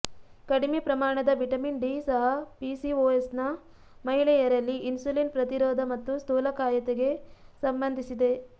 ಕಡಿಮೆ ಪ್ರಮಾಣದ vitamin D ಸಹ ಪಿಸಿಓಎಸ್ನ ಮಹಿಳೆಯರಲ್ಲಿ ಇನ್ಸುಲಿನ್ ಪ್ರತಿರೋಧ ಮತ್ತು ಸ್ಥೂಲಕಾಯತೆಗೆ ಸಂಬಂಧಿಸಿದೆ